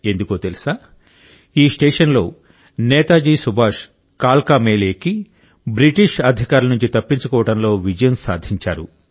ఎందుకో తెలుసా ఈ స్టేషన్లో నేతాజీ సుభాష్ కాల్కా మెయిల్ ఎక్కి బ్రిటిష్ అధికారుల నుండి తప్పించుకోవడంలో విజయం సాధించారు